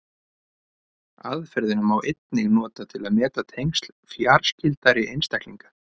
Aðferðina má einnig nota til að meta tengsl fjarskyldari einstaklinga.